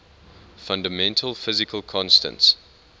fundamental physical constants